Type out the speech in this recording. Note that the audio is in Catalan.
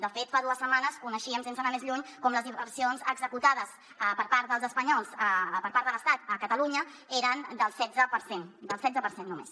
de fet fa dues setmanes coneixíem sense anar més lluny com les inversions executades per part de l’estat a catalunya eren del setze per cent del setze per cent només